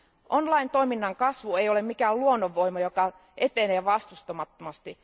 Online toiminnan kasvu ei ole mikään luonnonvoima, joka etenee vastustamattomasti.